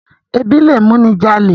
Ẹbí lẹ mú ní jalè.